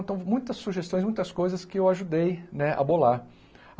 Então, muitas sugestões, muitas coisas que eu ajudei né a bolar.